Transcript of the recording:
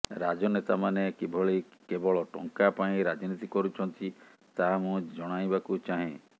ରାଜନେତାମାନେ କିଭଳି କେବଳ ଟଙ୍କା ପାଇଁ ରାଜନୀତି କରୁଛନ୍ତି ତାହା ମୁଁ ଜଣାଇବାକୁ ଚାହେଁ